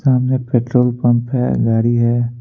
सामने petrol pump है गाड़ी है।